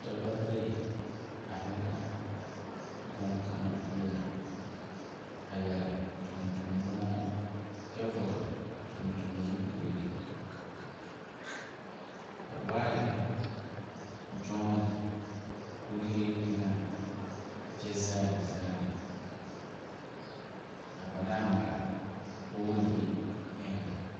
Dɔba bayi aei la bonkanga pou a yare tuntun bungyo kye vɔgle tuntun zupili ka waa yehi jooni kuri enga kye zaali zaali a panaa mare poɔli he enga.